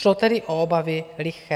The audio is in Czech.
Šlo tedy o obavy liché.